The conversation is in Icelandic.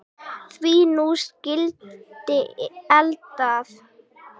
Því nú skyldi eldað.